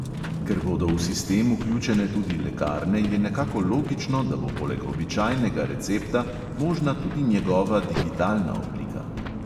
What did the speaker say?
Ker bodo v sistem vključene tudi lekarne, je nekako logično, da bo poleg običajnega recepta možna tudi njegova digitalna oblika.